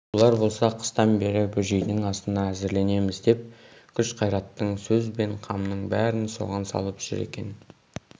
олар болса қыстан бері бөжейдің асына әзірленеміз деп күш-қайраттың сөз бен қамның бәрін соған салып жүр екен